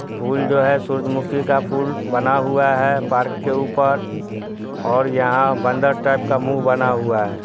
फूल जो है सूरज मुखी का फूल बना हुआ है पार्क के ऊपर ओर यहा बंदर टाइप का मुह बना हुआ है।